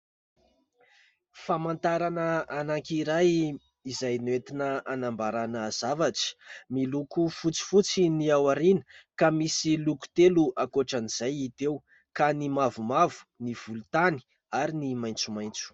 Famantarana anankiray izay nentina hanambaràna zavatra, miloko fotsifotsy ny ao aoriana ka misy loko telo ankoatran'izay hita eo ka ny mavomavo, ny volontany ary ny maitsomaitso.